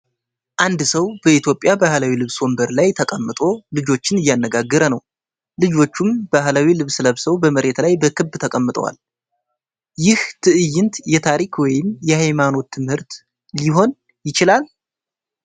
አንድ ሰው በኢትዮጵያ ባህላዊ ልብስ ወንበር ላይ ተቀምጦ ልጆችን እያነጋገረ ነው። ልጆቹም ባህላዊ ልብስ ለብሰው በመሬት ላይ በክብ ተቀምጠዋል። ይህ ትዕይንት የታሪክ ወይም የሃይማኖት ትምህርት ሊሆን ይችላል?